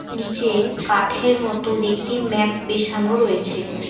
নীচে কাঠের মতো দেখতে ম্যাপ বেছানো রয়েছে।